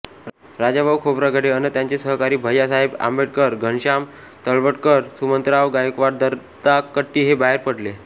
राजाभाऊ खोब्रागडे अन त्यांचे सहकारी भय्यासाहेब आंबेडकरघनश्याम तळवटकरसुमंतराव गायकवाडदत्ता कट्टी हे बाहेर पडले